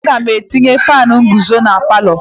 Aga m etinye faanụ nguzo na palọ.